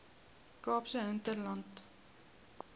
kaapse hinterland